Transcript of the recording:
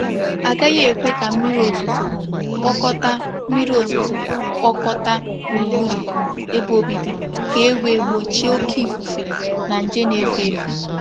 A gaghị ekwe ka mmiri ozuzo kpokọta mmiri ozuzo kpokọta gburugburu ebe obibi ka e wee gbochie oke ifufe na nje n'efe efe.